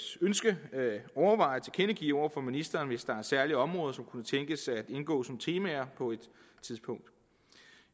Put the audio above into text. ønske overveje at tilkendegive over for ministeren hvis der er særlige områder som kunne tænkes at indgå som temaer på et tidspunkt